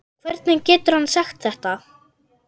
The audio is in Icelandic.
Hvernig getur hann sagt þetta?